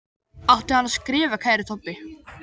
Átti hann að skrifa Kæri Tobbi?